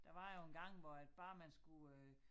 Der var jo engang hvor at bare man skulle øh